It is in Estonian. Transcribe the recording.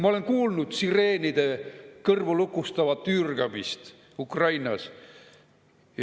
Ma olen kuulnud sireenide kõrvulukustavat üürgamist Ukrainas.